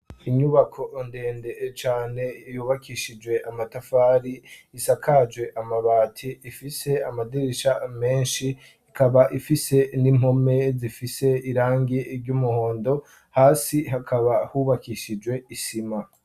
Inyubako ndende cane, yubakishijwe amatafari, isakaje amabati, ifise amadirisha menshi ikaba ifise n'impome zifise irangi ry'umuhondo, hasi hakaba hubakishijwe isima.